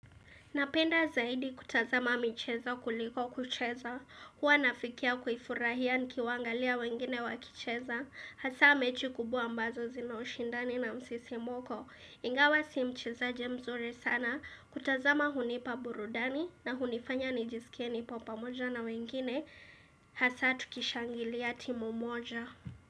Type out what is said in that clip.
Napenda zaidi kutazama michezo kuliko kucheza, huwa nafikia kufurahia nikiwangalia wengine wakicheza, hasa mechi kubwa ambazo zina ushindani na msisimko. Ingawa si mchezaji mzuri sana, kutazama hunipa burudani na hunifanya nijisikie nipo pamoja na wengine, hasa tukishangilia timu moja.